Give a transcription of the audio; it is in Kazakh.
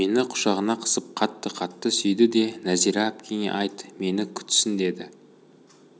мені құшағына қысып қатты-қатты сүйді де нәзира әпкеңе айт мені күтсін деді